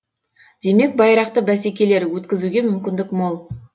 демек байрақты бәсекелер өткізуге мүмкіндік мол